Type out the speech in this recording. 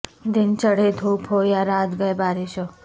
دن چڑھے دھوپ ہو یا رات گئے بارش ہو